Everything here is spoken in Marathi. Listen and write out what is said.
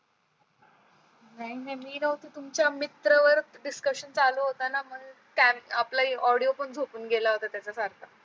नाही नाही मी नव्हती तुमच्या मित्र वर discussion चालू होत न म्हणून आपला audio पण झोपून गेला होता त्याचा सारखा